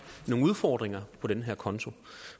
nogle udfordringer på den her konto